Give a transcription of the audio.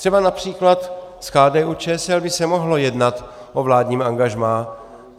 Třeba například s KDU-ČSL by se mohlo jednat o vládním angažmá.